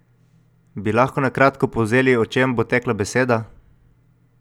Bi lahko na kratko povzeli, o čem bo tekla beseda?